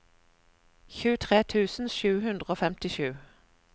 tjuetre tusen sju hundre og femtisju